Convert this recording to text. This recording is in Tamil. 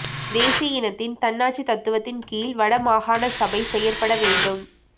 தேசிய இனத்தின் தன்னாட்சி தத்துவத்தின் கீழ் வடமாகாண சபை செயற்பட வேண்டும்